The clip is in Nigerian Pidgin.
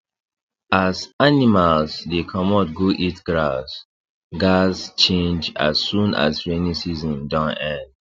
as animals dey comot go eat grass gaz change as soon as rainy season don end